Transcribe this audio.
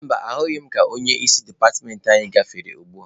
Mba, ahụghị m ka onye isi departmentị anyị gafere ugbua.